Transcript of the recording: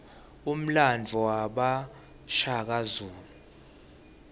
umlandvo wabashaka